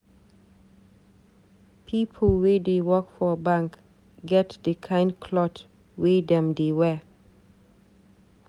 People wey dey work for bank get di kind cloth wey dem dey wear.